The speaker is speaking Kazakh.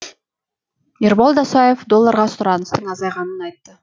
ерболат досаев долларға сұраныстың азайғанын айтты